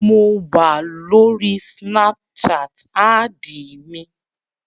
Mo wà lórí snapchat, ádìì mi